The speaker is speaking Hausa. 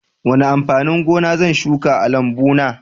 Wane amfanin gona zan shuka a lambuna?